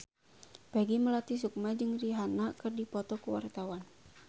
Peggy Melati Sukma jeung Rihanna keur dipoto ku wartawan